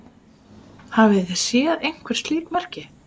Hafið þið séð einhver slík merki?